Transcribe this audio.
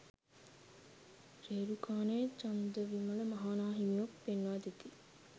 රේරුකානේ චන්දවිමල මහ නා හිමියෝ පෙන්වාදෙති.